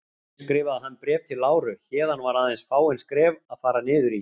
Hér skrifaði hann Bréf til Láru, héðan var aðeins fáein skref að fara niður í